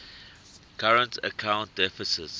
current account deficits